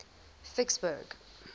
vicksburg